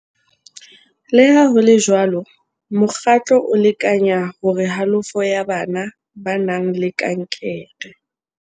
Le ha ho le jwalo, mokgatlo o lekanya hore halofo ya bana ba nang le kankere